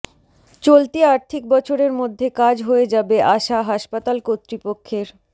চলতি আর্থিক বছরের মধ্যে কাজ হয়ে যাবে আশা হাসপাতাল কর্তৃপক্ষের